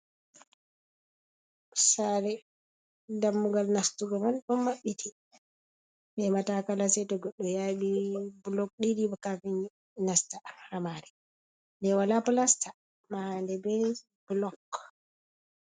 Sare dammugal nastugo man don mabbiti, be matakala seto goddo yabi blok didi kafin nasta ha mari de wala plasta mahande be blok.